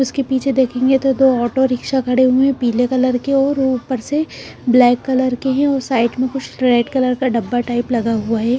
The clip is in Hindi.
उसके पीछे देखेंगे तो दो ऑटो रिक्शा खड़े हुए पीले कलर के और ऊपर से ब्लैक कलर के हैं और साइड में कुछ रेड कलर का डब्बा टाइप लगा हुआ है।